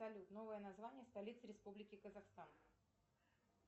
салют новое название столицы республики казахстан